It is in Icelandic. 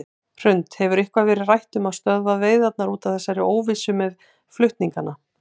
Hrund: Hefur eitthvað verið rætt um að stöðva veiðarnar út af þessari óvissu með flutningana?